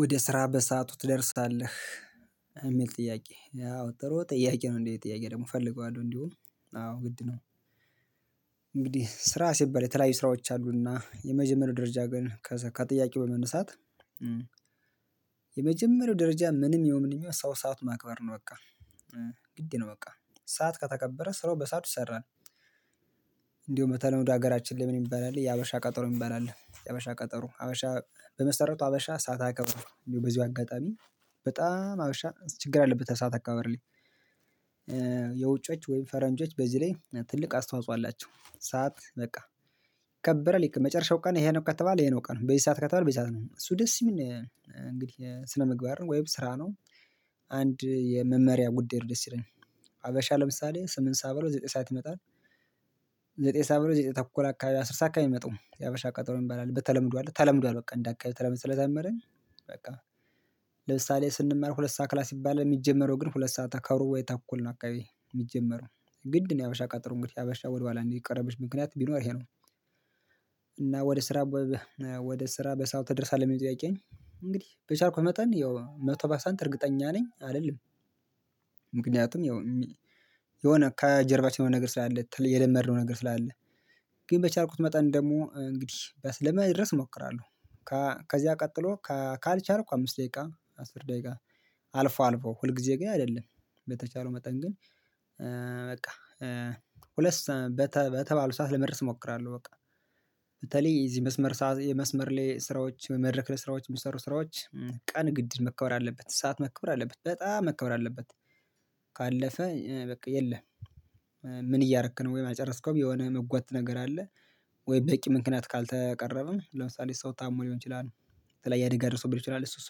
ወደ ስራ በሰአቱ ትደርሳለህ የሚል ጥያቄ ያው ጥሩ ጥያቄ ነው እንዴ ጥያቄ ደግሞ እፈልገዋለሁ እንዲሁ አዎ ግድ ነው እንግዲህ ስራ ስባል የተለያዩ ስራዎች አሉና የመጀመሪያው ደረጃ ግን ከጥያቄው በመነሳት የመጀመሪያው ደረጃ ምንም የምንም ሰው ሰዓት ማክበር ነው በቃ ግድ ነው በቃ ሰዓት ከተከበረ ስራው በሰአት ሰራን እንደውም በተለምዶ ወደ ሀገራችን ላይ ምን ይባላል የሀበሻ ቀጠሮ ይባላል የሀበሻ ቀጠሮ ሀበሻ በመሰረቱ ሀበሻ ሰዓት አያከብርም እንዲሁ በዚሁ አጋጣሚ በጣም አብሻ ችግር አለበት ሰዓት አከባበር ላይ የውጮች ወይም ፈረንጆች በዚህ ላይ ትልቅ አስተዋጽኦ አላቸው ሰዓት በቃ ከበረ ልክ መጨረሻው ቀን ይሄንን እውቀት ተባለ ይሄንን እውቀት ነው በዚህ ሰዓት ከተባለ በዚህ ሰዓት ነው እሱ ደስ የሚል እንግዲህ ስነምግባር ወይም ስራ ነው የመመሪያ ጉዳይ ደስ ይለኛል ሀበሻ ለምሳሌ ስምንት ሰዓት ብሎ ዘጠኝ ሰዓት ይመጣል ዘጠኝ ሰዓት ብሎ ዘጠኝ ተኩል አካባቢ አስር ሰዓት አከባቢ የመጣው የሀበሻ ቀጠሮ ይባላል በተለምዶ አለ ተለምዷል በቃ እንደ አካባቢ ተለምድ ስለተመረኝ በቃ ለምሳሌ ስንመርኩ ሁለት ሰዓት ክላስ ይባላል የሚጀመረው ግን ሁለት ሰዓታት ከአውሮፓ የተኮልን አካባቢ የሚጀመረው ግድ ነው የሀበሻ ቀጠሮ እንግዲህ የሀበሻ ወደ ኋላ እንዲቀረብሽ ምክንያት ቢኖር ይሄ ነው እና ወደ ስራ ወደ ስራ በሰው ተደርሳለህ? ለሚመጡ ያውቃኝ እንግዲህ በቻልኩ መጠን ያው መቶ ባሳንት እርግጠኛ ነኝ አይደለም ምክንያቱም ያው የሆነ ከጀርባችን የሆነ ነገር ስላለ የደመርነው ነገር ስላለ ግን በቻልኩት መጠን ደግሞ እንግዲህ ለመድረስ እሞክራለሁ ከዚያ ቀጥሎ ካልቻልኩ አምስት ደቂቃ አስር ደቂቃ አልፎ አልፎ ሁል ጊዜ ግን አይደለም በተቻለው መጠን ግን በቃ ሁለት ሰዓ በተባለው ሰዓት ለመድረስ እሞክራለሁ በቃ በተለይ እዚህ መስመር መስመር ላይ ስራዎች መድረክ ላይ ለስራዎች የሚሰሩ ስራዎች ቀን ግድ መከብር አለበት ሰዓት መከብር አለበት በጣም መከብር አለበት ካለፈ በቃ የለም ምን እያደረክ ነው ወይ የማጨርስከው የሆነ መጓዝ ነገር አለ ወይ በቂ ምክንያት ካልተቀረበ ለምሳሌ ሰው ታሞ ሊሆን ይችላል ስለዚህ ያደገ ርስብል ይችላል እሱ እሱ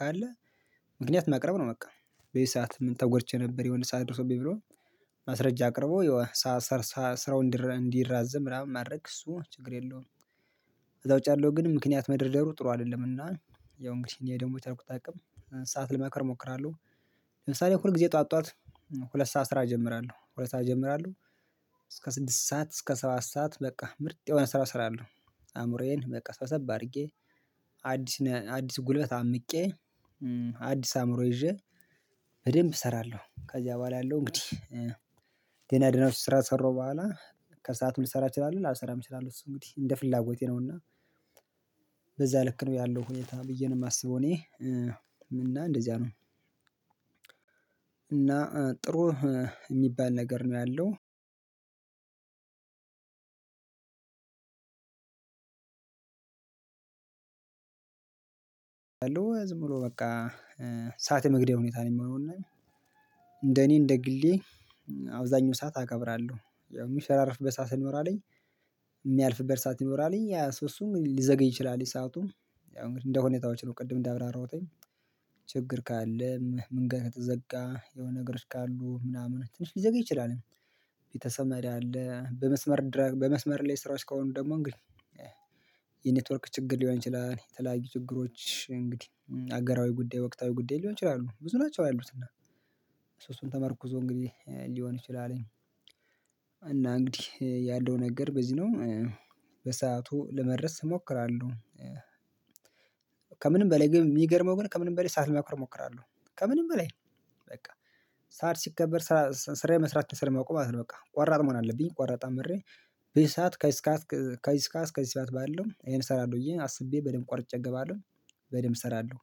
ካለ ምክንያት ማቅረብ ነው በቃ በዚህ ሰዓት ምን ተጎድቼ ነበር የሆነ ሰዓት ደርሶብኝ ብሎ ማስረጃ አቅርቦ ይዋ ስራውን እንዲራዘም ምናምን ማድረግ እሱ ችግር የለውም ከዛ ውጭ ያለው ግን ምክንያት መደርደሩ ጥሩ አይደለምና ያው እንግዲህ እኔ ደግሞ በቻልኩት አቅም ሰዓት ልመክር እሞክራለሁ ለምሳሌ ሁል ጊዜ ጠዋት ጠዋት ሁለት ሰዓት ስራ እጀምራለሁ ሁለት ሰዓት ይጀምራሉ እስከ ስድስት ሰዓት እስከ ሰባት ሰዓት በቃ ምርጥ የሆነ ስራ ስራ አለው አእምሮዬን በቃ ሰብሰብት አድርጌ አዲስ አዲስ ጉልበት አምቄ አዲስ አእምሮ ይዤ በደንብ እሰራለሁ ከዚያ በኋላ ያለው እንግዲህ ድኖች ስራ ከሰራሁ በኋላ ከሰአቱም ልሰራ እችላለሁ ላልሰራ የምችላለው እሱ እንግዲህ እንደ ፍላጎቴ ነውና በዛ ልክ ነው ያለው ሁኔታ ብዬ ነው የማስበው እኔ እና እንደዚያ ነው እና ጥሩ የሚባል ነገር ነው ያለው አሉ ዝም ብሎ በቃ ሰዓት የመግደል ሁኔታ ነው የሚሆነውና እንደኔ እንደ ግሌ አብዛኛው ሰዓት አከብራለሁ የሚሸራርፍ በሰአት ሲኖር አለኝ የሚያልፍበት ሰዓት ሲኖር አለኝ ሶስቱም ሊዘገኝ ይችላል የሰአቱም እንግዲህ እንደሁኔታዎች ነው ቅድም እንዳብራራውተኝ ችግር ካለም ምን ጋር ከተዘጋ የሆነ ነገሮች ካሉ ምናምን ትንሽ ሊዘገይ ይችላል ቤተሰብ መሪ አለ በመስመር በመስመር ላይ ስራዎች ከሆኑ ደግሞ እንግዲህ የኔትወርክ ችግር ሊሆን ይችላል እኔ ተለያዩ ችግሮች እንግዲህ አገራዊ ጉዳይ ወቅታዊ ጉዳይ ሊሆን ይችላሉ ብዙ ናቸው ያሉትና ሶስቱን ተመርኩዞ እንግዲህ ሊሆን ይችላል እና እንግዲህ ያንደው ነገር በዚህ ነው ለመድረስ እሞክራለሁ ከምንም በላይ ግን የሚገርመው ግን ከምንም በላይ ሰዓት ለማክበር እሞክራለሁ ከምንም በላይ በቃ ሰዓት ሲከበር ስራ መስራት ስራ ማቆም አለብኝ በቃ ቆራጥ መሆን አለብኝ ቆራጥ አምሬ በዚህ ሰዓት ከዚህ እስከ ከዚህ እስከ ከዚህ ስዳት ባለው ይሄን እሰራለሁ እዬ አስቤ በደንብ ቆርጬ እገባለሁ በደንብ እሰራለሁ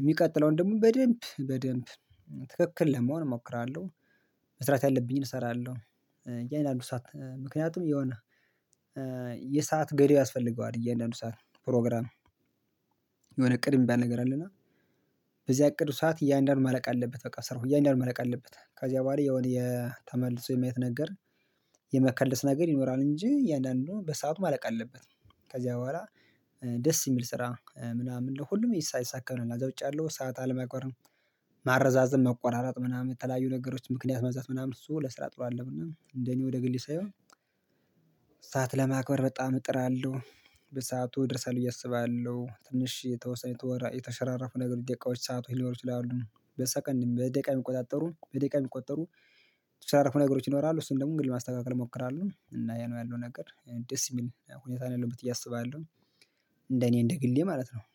የሚቀጥለውን ደግሞ በደንብ በደንብ ትክክል ለመሆን እሞክራለሁ መስራት ያለብኝን እሰራለሁ ያን አንድ ሰዓት ምክንያቱም የሆነ የሰዓት ገዳይ ያስፈልገዋል እያንዳንዱ ሰዓት ፕሮግራም የሆነ እቅድ የሚባል ነገር አለና በዚህ እቅድ ሰዓት እያንዳንዱን መለቅ አለበት በቃ ስራው እያንዳንዱን መለቅ አለበት ከዚያ ባህሪ የሆነ የተመለሰው የመየት ነገር የመከለስ ነገር ይኖራል እንጂ እያንዳንዱን በሰአቱ ማለቅ አለበት ከዚያ በኋላ ደስ የሚል ስራ ምናምን ለሁሉም ይሳካል ነው እና እዛ ውጪ አለው ሰዓት አለማቋረም ማረዛዘም መቆራረጥ ምናምን የተለያዩ ነገሮች ምክንያት መዛት ምናምን እሱ ለስራ ጥሎ አለው እና እንደኔ ወደ ግልስ አየው ሰዓት ለማክበር በጣም እጥራለሁ በሰአቱ እደርሳለሁ ብየ አስባለሁ ትንሽ የተወሰነ የተወራ የተሸራረፉ ነገሮች ደቂቃዎች ሰዓት ሆይ ሊኖሩ ይችላሉ በሰከንድ በደቂቃ የሚቆጣጠሩ በደቂቃ የሚቆጠሩ የተሻለ ነገሮች ይኖራሉ እሱን ደግሞ እንግዲህ ማስተካከል እሞክራለሁ እና ያ ነው ያለው ነገር ደስ የሚል ሁኔታ ነው ያለው ያለበት እያሰበ ያለው እንደ እኔ እንደ ግሌ ማለት ነው